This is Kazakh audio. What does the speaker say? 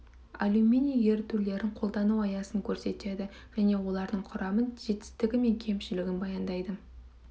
алюминий ерітулерін қолдану аясын көрсетеді және олардың құрамын жетістігі мен кемшілігін баяндайды